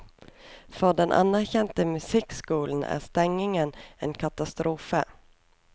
For den anerkjente musikkskolen er stengingen en katastrofe.